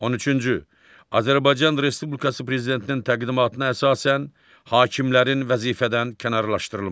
On üçüncü, Azərbaycan Respublikası Prezidentinin təqdimatına əsasən hakimlərin vəzifədən kənarlaşdırılması.